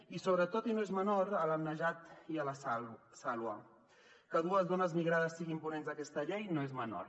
i sobretot i no és menor a la najat i a la saloua que dues dones migrades siguin ponents d’aquesta llei no és menor